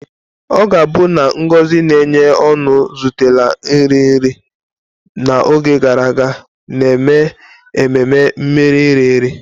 Ọ ga-abụ na ngozi na-enye ọṅụ zutela nri nri n'oge gara aga, na-eme ememe mmeri nri nri.